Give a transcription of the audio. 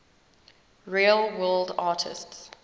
real world artists